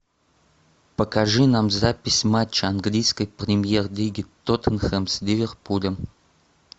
покажи нам запись матча английской премьер лиги тоттенхэм с ливерпулем